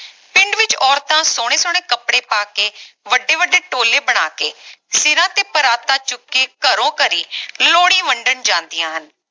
ਪਿੰਡ ਵਿਚ ਔਰਤਾਂ ਸੋਹਣੇ ਸੋਹਣੇ ਕਪੜੇ ਪਾ ਕੇ ਵੱਡੇ ਵੱਡੇ ਟੋਲੇ ਬਣਾ ਕੇ ਸਿਰਾਂ ਤੇ ਪਰਾਤਾਂ ਚੁੱਕ ਕੇ ਘਰੋਂ ਘਰੀ ਲੋਹੜੀ ਵੰਡਣ ਜਾਂਦੀਆਂ ਹਨ